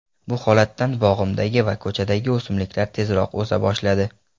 Bu holatdan bog‘imdagi va ko‘chadagi o‘simliklar tezroq o‘sa boshladi.